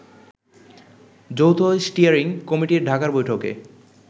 যৌথ স্টিয়ারিং কমিটির ঢাকার বৈঠকে